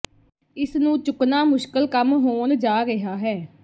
ਇਸ ਨੂੰ ਚੁੱਕਣਾ ਮੁਸ਼ਕਲ ਕੰਮ ਹੋਣ ਜਾ ਰਿਹਾ ਹੈ